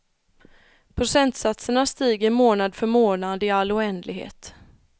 Procentsatserna stiger månad för månad i all oändlighet.